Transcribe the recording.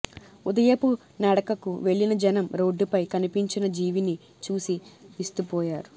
ఉదయపు నడకకు వెళ్లిన జనం రోడ్డుపై కనిపించిన జీవిని చూసి విస్తుపోయారు